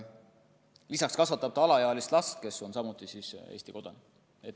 Lisaks kasvatab ta alaealist last, kes on samuti Eesti kodanik.